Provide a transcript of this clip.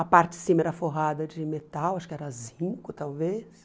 A parte de cima era forrada de metal, acho que era zinco, talvez.